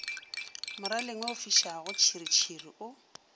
moraleng wo ofišago tšhiritšhiri o